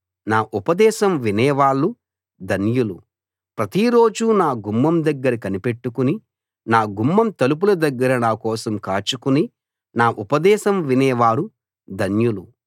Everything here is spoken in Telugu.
నా ఉపదేశం వినేవాళ్ళు ధన్యులు ప్రతిరోజూ నా గుమ్మం దగ్గర కనిపెట్టుకుని నా గుమ్మం తలుపుల దగ్గర నా కోసం కాచుకుని నా ఉపదేశం వినేవారు ధన్యులు